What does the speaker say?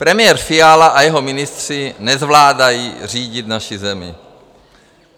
Premiér Fiala a jeho ministři nezvládají řídit naši zemi.